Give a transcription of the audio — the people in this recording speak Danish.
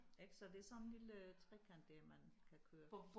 Ik så det sådan en lille trekant der man kan kører